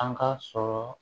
An ka sɔrɔ